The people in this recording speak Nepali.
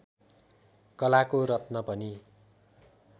कलाको रत्न पनि